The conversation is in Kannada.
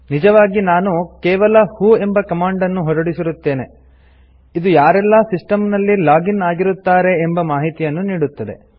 ನಿಜವಾಗಿ ನಾವು ಕೇವಲ ವ್ಹೋ ಎಂಬ ಕಮಾಂಡ್ ನ್ನು ಹೊರಡಿಸಿರುತ್ತೇವೆ ಇದು ಯಾರೆಲ್ಲ ಸಿಸ್ಟಮ್ ನಲ್ಲಿ ಲಾಗ್ ಇನ್ ಆಗಿರುತ್ತಾರೆ ಎಂಬ ಮಾಹಿತಿಯನ್ನು ನೀಡುತ್ತದೆ